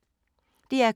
DR K